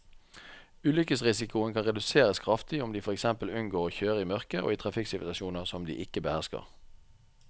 Ulykkesrisikoen kan reduseres kraftig om de for eksempel unngår å kjøre i mørket og i trafikksituasjoner som de ikke behersker.